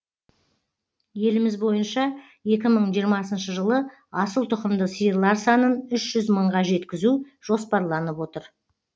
еліміз бойынша екі мың жиырмасыншы жылы асылтұқымды сиырлар санын үш жүз мыңға жеткізу жоспарланып отыр